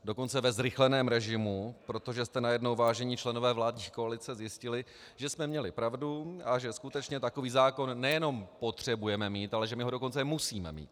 Dokonce ve zrychleném režimu, protože jste najednou, vážení členové vládní koalice, zjistili, že jsme měli pravdu a že skutečně takový zákon nejenom potřebujeme mít, ale že my ho dokonce musíme mít.